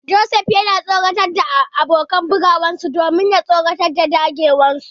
Joseph yana tsoratar da abokan karawarsa domin ya karyar da dagewarsu.